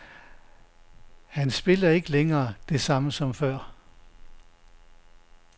Hans spil er ikke længere det samme som før.